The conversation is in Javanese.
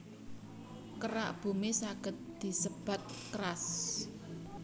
Kerak Bumi saged disebat crust